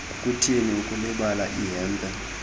kukuthini ukulibala ihempe